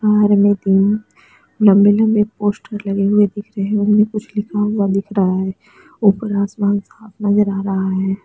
बाहार में तीन लम्बे लम्बे पोस्टर लगे हुए दिख रहैं हैं उनमे कुछ लिखा हुआ दिख रहा हैं ऊपर आसमान साफ़ नज़र आ रहा हैं।